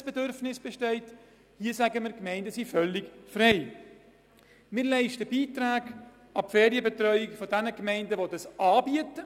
Im vorliegenden Fall sollen Beiträge an Gemeinden geleistet werden, die eine Ferienbetreuung anbieten.